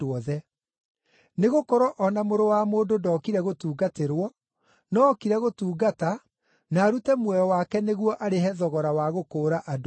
Nĩgũkorwo o na Mũrũ wa Mũndũ ndookire gũtungatĩrwo, no ookire gũtungata na arute muoyo wake nĩguo arĩhe thogora wa gũkũũra andũ aingĩ.”